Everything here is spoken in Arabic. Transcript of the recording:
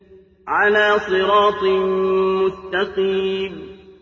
عَلَىٰ صِرَاطٍ مُّسْتَقِيمٍ